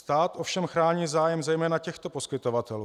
Stát ovšem chrání zájem zejména těchto poskytovatelů.